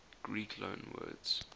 greek loanwords